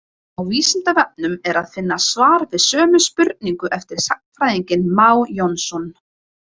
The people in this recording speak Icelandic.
Á Vísindavefnum er að finna svar við sömu spurningu eftir sagnfræðinginn Má Jónsson.